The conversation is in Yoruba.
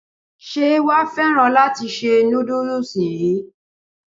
Ṣé wa fẹ́ràn láti ṣe noodles yìí?